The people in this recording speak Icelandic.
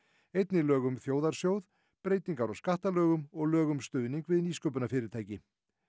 einnig lög um þjóðarsjóð breytingar á skattalögum og lög um stuðning við nýsköpunarfyrirtæki